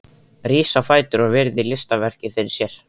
Rís á fætur og virðir listaverkið fyrir sér.